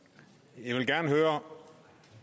jeg vil gerne høre